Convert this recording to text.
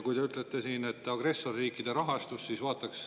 Te rääkisite siin agressorriikide rahastusest.